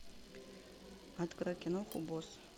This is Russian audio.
открой киноху босс